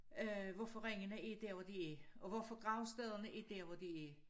Øh hvorfor ringene er der hvor de er og hvorfor gravstederne er der hvor de er